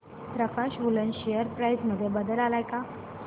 प्रकाश woollen share price मध्ये बदल आलाय का